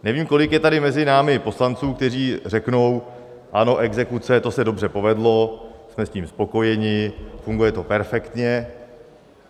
Nevím, kolik je tady mezi námi poslanců, kteří řeknou: Ano, exekuce, to se dobře povedlo, jsme s tím spokojeni, funguje to perfektně.